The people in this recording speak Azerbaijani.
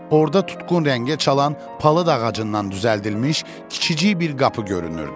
Orda tutqun rəngə çalan palıd ağacından düzəldilmiş kiçicik bir qapı görünürdü.